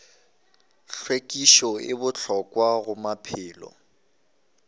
hlwekišo e bohlokwa go maphelo